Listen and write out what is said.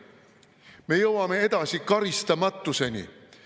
Me jõuame karistamatuseni.